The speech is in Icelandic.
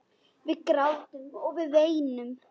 Við grátum, við veinum.